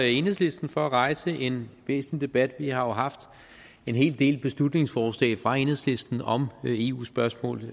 enhedslisten for at rejse en væsentlig debat vi har haft en hel del beslutningsforslag fra enhedslisten om eu spørgsmål